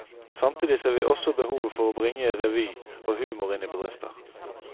Samtidig ser vi også behovet for å bringe revy og humor inn i bedrifter.